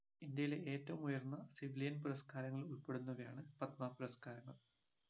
ഇന്ത്യയിലെ ഏറ്റവും ഉയർന്ന civilian പുരസ്‍കാരങ്ങളിൽ ഉൾപ്പെടുന്നവയാണ് പത്മ പുരസ്‍കാരങ്ങൾ